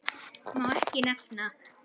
Má ekki nefna